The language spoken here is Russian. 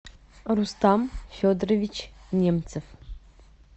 рустам федорович немцев